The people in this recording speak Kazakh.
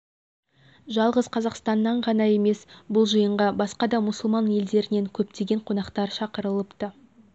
жалғыз қазақстаннан ғана емес бұл жиынға басқа да мұсылман елдерінен көптеген қонақтар шақырылыпты